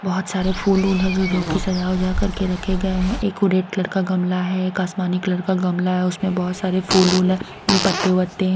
बहुत सारे फूल रूल है जो जो कि सजा उजा करके रखे गए हैं एक वो रेड कलर का गमला है एक आसमानी कलर का गमला है उसमें बहुत सारे फूल रूल है पत्ते वत्ते है।